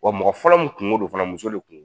Wa mɔgɔ fɔlɔ min kuŋo don fana muso de kuŋo d